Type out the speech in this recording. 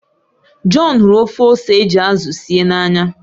John hụrụ ofe ose eji azụ síé n'anya